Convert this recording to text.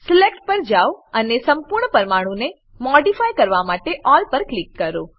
select પર જાવ અને સંપૂર્ણ પરમાણુને મોડીફાય કરવા માટે અલ્લ પર ક્લિક કરો